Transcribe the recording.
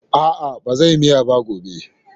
A'a, ba zan yi miyar ba gobe.